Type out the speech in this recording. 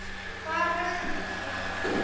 Hvaða brögðum beitti hann?